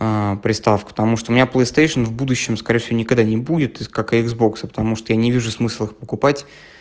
приставка потому что у меня плэй стэйшена в будущем скорее всего никогда не будет как и иксбокса потому что я не вижу смысла их покупать